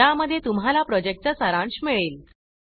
ज्या मध्ये तुम्हाला प्रोजेक्ट चा सारांश मिळेल